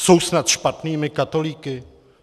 Jsou snad špatnými katolíky?